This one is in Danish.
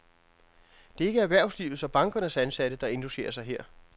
Det er ikke erhvervslivets og bankernes ansatte, der indlogerer sig her.